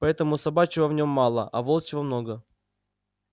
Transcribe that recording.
поэтому собачьего в нём мало а волчьего много